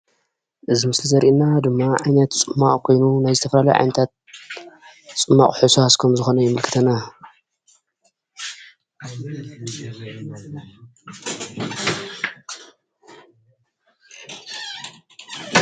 እዚ ምስሊ ዘርእየና ድማ ዓይነት ፅማቕ ኮይኑ ናይ ዝተፈላለዩ ዓይነትታት ፅማቕ ሕውስወቃስ ከም ዝኮነ የመልክተና፡፡